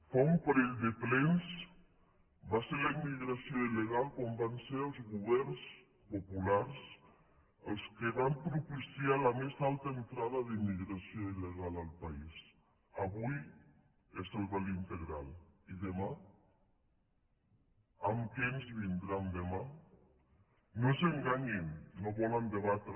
fa un parell de plens va ser la immigració il·legal quan van ser els governs populars els que van propiciar la més alta entrada d’immigració il·legal al país avui és el vel integral i demà amb què ens vindran demà no s’enganyin no volen debatre